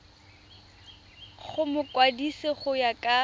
go mokwadise go ya ka